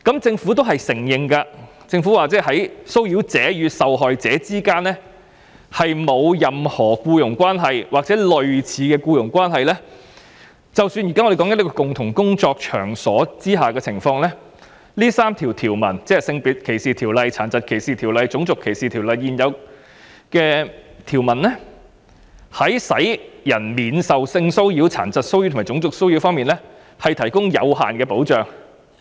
政府亦承認，在騷擾者與受害者之間沒有任何僱傭關係或類似的僱傭關係，但在我們現在談論的共同工作場所工作的情況下，這3項法例，即《性別歧視條例》、《殘疾歧視條例》及《種族歧視條例》的現有條文在使人免受性騷擾、殘疾騷擾及種族騷擾方面，只能提供有限的保障。